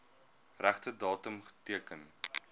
regte datum teken